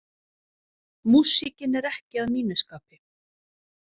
Músíkin er ekki að mínu skapi.